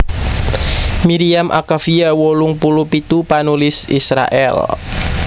Miriam Akavia wolung puluh pitu panulis Israèl